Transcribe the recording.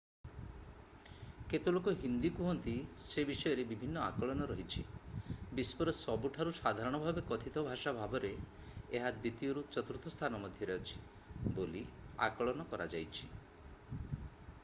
କେତେ ଲୋକ ହିନ୍ଦୀ କୁହନ୍ତି ସେ ବିଷୟରେ ବିଭିନ୍ନ ଆକଳନ ରହିଛି ବିଶ୍ଵର ସବୁଠାରୁ ସାଧାରଣ ଭାବେ କଥିତ ଭାଷା ଭାବରେ ଏହା ଦ୍ୱିତୀୟରୁ ଚତୁର୍ଥ ସ୍ଥାନ ମଧ୍ୟରେ ଅଛି ବୋଲି ଆକଳନ କରାଯାଇଛି